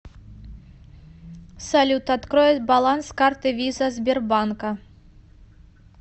салют открой баланс карты виза сбербанка